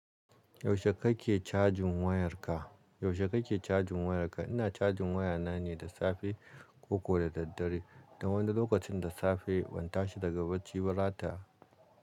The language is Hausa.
Yaushe kake cajin wayarka? Yaushe kake cajin wayarka? Ina cajin wayana ne da safe ko da daddare. Dan wani lokacin da safe ban tashi daga bacci ba rata.